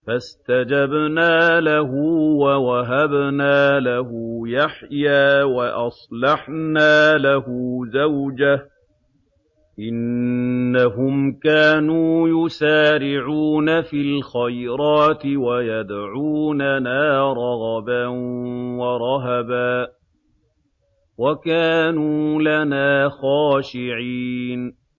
فَاسْتَجَبْنَا لَهُ وَوَهَبْنَا لَهُ يَحْيَىٰ وَأَصْلَحْنَا لَهُ زَوْجَهُ ۚ إِنَّهُمْ كَانُوا يُسَارِعُونَ فِي الْخَيْرَاتِ وَيَدْعُونَنَا رَغَبًا وَرَهَبًا ۖ وَكَانُوا لَنَا خَاشِعِينَ